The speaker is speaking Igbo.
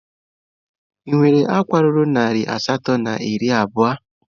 Ị nwere akwa ruru narị asatọ na iri abụọ?